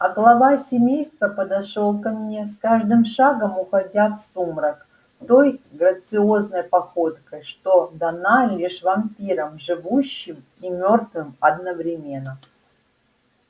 а глава семейства подошёл ко мне с каждым шагом уходя в сумрак той грациозной походкой что дана лишь вампирам живущим и мёртвым одновременно